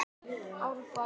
Árbæ